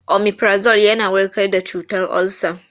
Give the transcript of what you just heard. Omifirazol yana warkar da cutar olsa.